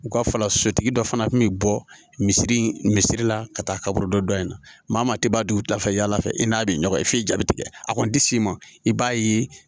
U ka fala sotigi dɔ fana kun bɛ bɔ misiri in misiri la ka taa kaburu dɔ in na maa tɛ bɔ u ta fɛ yala fɛ i n'a bɛ ɲɔgɔn ye f'i jaabi tigɛ a kɔni tɛ s'i ma i b'a ye